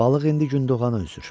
Balıq indi gündoğana üzür.